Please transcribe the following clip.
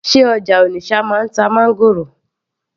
sé ọjà Onitsha náà ń ta máńgòrò